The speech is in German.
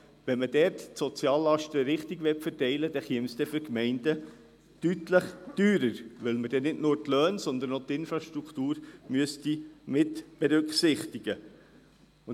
Möchte man die Soziallasten hier richtig verteilen, käme das die Gemeinden deutlich teurer zu stehen, weil man dann nicht nur die Löhne, sondern auch die Infrastruktur mitberücksichtigen müsste.